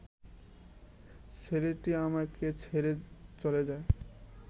ছেলেটি আমাকে ছেড়ে চলে যায়